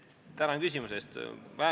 Tänan küsimuse eest!